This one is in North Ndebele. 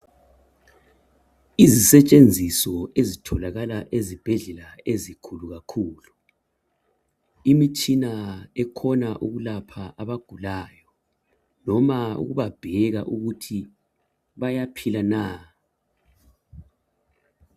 Izisetshenziso ezitholakala ezibhedlela ezikhulu kakhulu. Imitshina ekhona ukulapha abagulayo noma ukubabheka ukuthi bayaphila na.